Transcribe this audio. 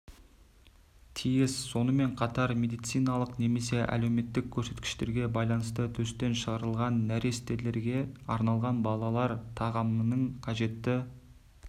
тиіс сонымен қатар медициналық немесе әлеуметтік көрсеткіштерге байланысты төстен шығарылған нәрестелерге арналған балалар тағамының қажетті